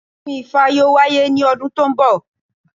Ọdún ifá yóò wáyé ní ọdún tó ń bọ̀